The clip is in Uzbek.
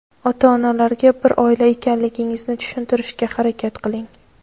Ota-onalarga bir oila ekanligingizni tushuntirishga harakat qiling.